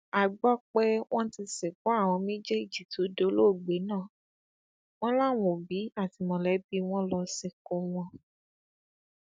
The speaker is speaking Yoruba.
a gbọ pé wọn ti sìnkú àwọn méjèèjì tó dolóògbé náà wọn làwọn òbí àti mọlẹbí wọn lọọ sìnkú wọn